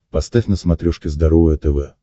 поставь на смотрешке здоровое тв